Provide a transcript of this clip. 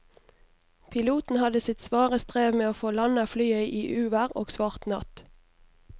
Piloten hadde sitt svare strev med å få landet flyet i uvær og svart natt.